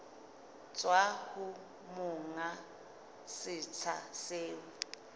tswa ho monga setsha seo